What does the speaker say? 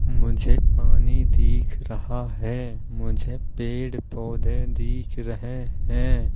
मुझे पानी दिख रहा है। मुझे पेड़-पौधे दिख रहे हैं।